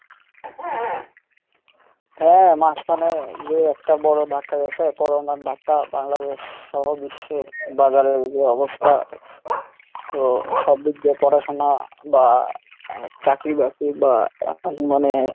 হ্যাঁ মাঝখানে যে একটা বড় ধাক্কা গেছে Corona র ধাক্কা বাংলাদেশ সহ বিশ্বের বাজারের যে অবস্থা so সবদিক দিয়ে পড়াশোনা বা চাকরি বাকরি বা মানে